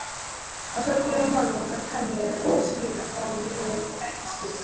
Á sorglegu málunum okkar kann ég ekki skil.